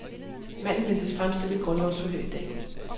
Manden ventes fremstillet i grundlovsforhør i dag.